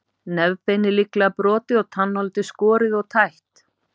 Nefbeinið líklega brotið og tannholdið skorið og tætt.